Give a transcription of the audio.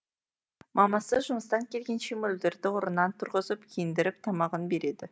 мамасы жұмыстан келгенше мөлдірді орнынан тұрғызып киіндіріп тамағын береді